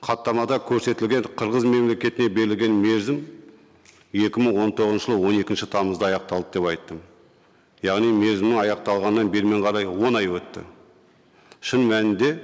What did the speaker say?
хаттамада көрсетілген қырғыз мемлекетіне берілген мерзім екі мың он тоғызыншы жылы он екінші тамызда аяқталды деп айттым яғни мерзімі аяқталғаннан берімен қарай он ай өтті шын мәнінде